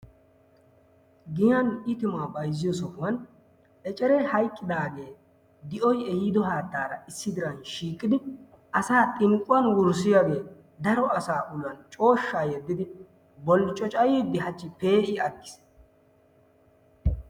Giyan itimaa bayzziyo sohuwan eceree hayqqidaagee di'oy ehiidi haattaara issi diraa shiiqidi asaa xinqquwan wurssiyagee daro asaa uluwan cooshshaa yeddidi bolccocayiiddi hachchi pee'i aggiis.